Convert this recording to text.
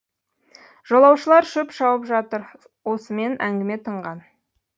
жолаушылар шөп шауып жатыр осымен әңгіме тынған